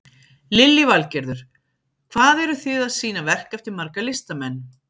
Lillý Valgerður: Hvað eru þið að sýna verk eftir marga listamenn?